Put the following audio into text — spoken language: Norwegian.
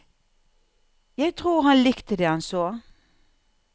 Jeg tror han likte det han så.